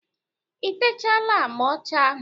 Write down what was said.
I techaala agba ọcha ahụ?